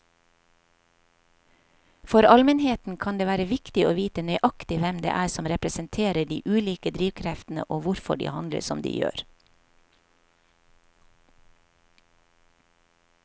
For allmennheten kan det være viktig å vite nøyaktig hvem det er som representerer de ulike drivkreftene og hvorfor de handler som de gjør.